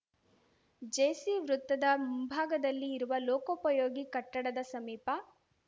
JC ವೃತ್ತದ ಮುಂಭಾಗದಲ್ಲಿ ಇರುವ ಲೋಕೋಪಯೋಗಿ ಕಟ್ಟಡದ ಸಮೀಪ